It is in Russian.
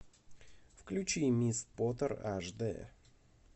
включи мисс поттер аш д